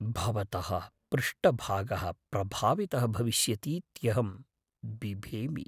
भवतः पृष्ठभागः प्रभावितः भविष्यतीत्यहं बिभेमि। वैद्यः